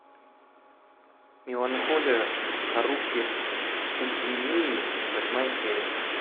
меланхолия харухи судзумии восьмая серия